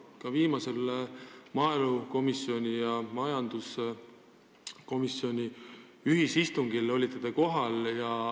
Ka viimasel maaelukomisjoni ja majanduskomisjoni ühisistungil olite te kohal.